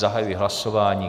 Zahajuji hlasování.